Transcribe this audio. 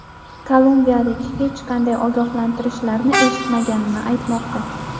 Kolumbiyalik hech qanday ogohlantirishlarni eshitmaganini aytmoqda.